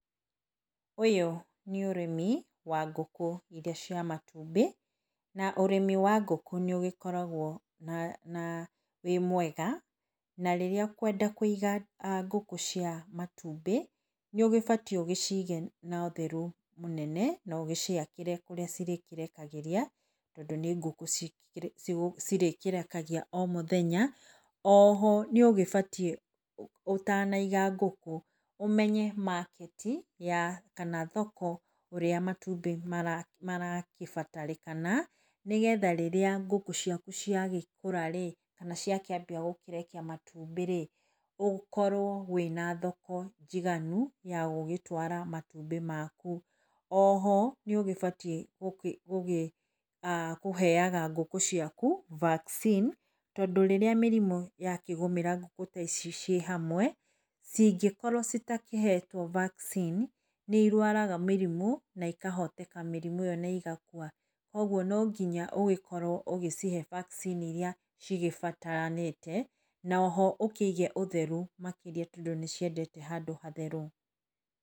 Ũyũ nĩ ũrĩmi wa ngũkũ iria cia matumbĩ, na ũrĩmi wa ngũkũ nĩ ũgĩkoragwo wĩ mwega na rĩrĩa ũkwenda kũiga ngũkũ cia matumbĩ, nĩ ũgĩbatiĩ ũgĩcige na ũtheru mũnene na ũgĩciakĩre kũrĩa cirĩkĩrekagĩria tondũ nĩ ngũkũ cirĩkĩrekagia o mũthenya . Oho nĩ ũgĩbatiĩ ũtanaiga ngũkũ ũmenye market ya kana thoko ya kũrĩa matumbĩ maragĩbatarĩkana nĩ getha rĩrĩa ngũkũ ciaku cia gĩkũra-rĩ kana ciakĩnjia kũrekia matumbĩ-rĩ, ũkorwo wĩna thoko njiganu ya gũgĩtwara matumbĩ maku. Oho nĩ ũgĩbatiĩ gũkĩheaga ngũkũ ciaku vaccine tondũ rĩrĩrĩa mĩrimũ yakĩgũmĩra ngũkũ ta ici ciĩ hamwe, cingĩkorwo citakĩhetwo vaccine, nĩ irwaraga mĩrimũ na ikahoteka mĩrimũ na igakua. Kũoguo no nginya ũgĩkorwo ũgĩcihe vaccine iria cigĩbataranĩte na oho ũkĩige ũtheru makĩria tondũ nĩ ciendete handũ hatheru.